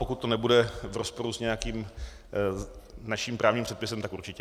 Pokud to nebude v rozporu s nějakým naším právním předpisem, tak určitě.